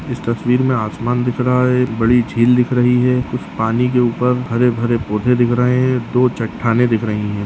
इस तस्वीर में आसमान दिख रहा है एक बड़ी झील दिख रही है उस पानी के ऊपर हरे-भरे पौधे दिख रहे हैं दो चट्टानें दिख रही है।